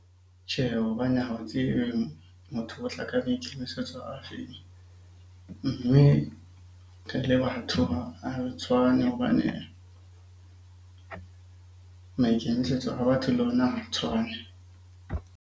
Tjhe, hobane ha o tsebe motho o tla a maikemisetso a feng? Mme re le batho ha re tshwane hobane maikemisetso a batho le ona ha tshwane.